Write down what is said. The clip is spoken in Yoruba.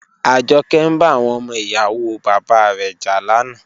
Ajoke n ba awon omo iyawo baba re ja lana.